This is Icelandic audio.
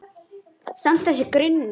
Samt- þessi grunur.